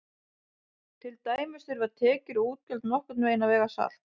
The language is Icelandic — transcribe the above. Til dæmis þurfa tekjur og útgjöld nokkurn veginn að vega salt.